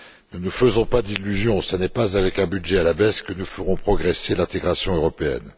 Ne nous faisons pas d'illusions, ce n'est pas avec un budget à la baisse que nous ferons progresser l'intégration européenne!